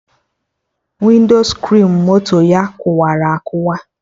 Winscrin moto ya kụwara akụwa